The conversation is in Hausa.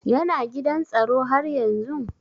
Yana gidan tsaro haryanzun?